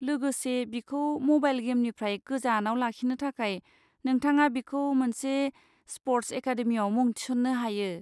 लोगोसे, बिखौ म'बाइल गेमनिफ्राय गोजानाव लाखिनो थाखाय, नोंथाङा बिखौ मोनसे स्प'र्ट्स एकादेमिआव मुं थिसन्नो हायो।